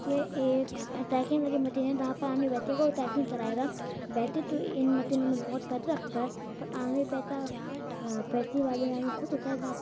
ये एक साइकिल वाली मशीन है को साइकिलिंग कराएगा। वैसे तो इन मशीनों में बोहोत पैसा लगता है पर --